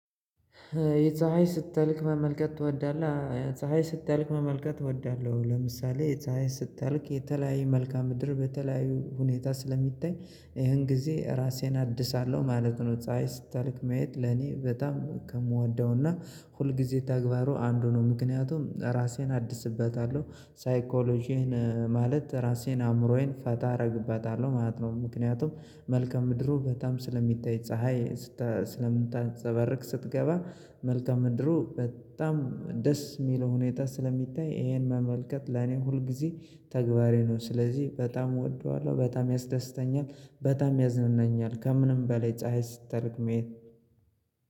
የፀሀይ ስትጠልቅ መመልከት ትወዳለህ? ፀሀይ ስትጠልቅ መመልከት እወዳለሁኝ። ለምሳሌ ፀሀይ ስጠልቅ የተለያየ መልካም ምድር በተለያዩ ሁኔታ ስለሚታይ ይሄን ጊዜ ራሴን አድሳለሁ ማለት ነው። ፀሀይ ስጠልቅ ማየት ለኔ በጣም ከምወደውና ሁልጊዜ ተግባሩ አንዱ ነው ምክንያቱም ራሴን አድስበታለሁ ሳይኮሎጂህን ማለት ራሴን አእምሮዬን ፈታ አረግበታለሁ ማለት ነው። ምክንያቱም መልካ ምድሩ በጣም ስለሚታይ ፀሀይ ስለምታፀባርቅ ስትገባ መልከ ምድሩ በጣም ደስ ሚለው ሁኔታ ስለሚታይ ይሄን መመልከት ለኔ ሁል ጊዜ ተግባሬ ነው። ስለዚህ በጣም እወደዋለሁ በጣም ያስደስተኛል በጣም ያዝናናኛል ከምንም በላይ ፀሀይ ስትጠልቅ ማየት።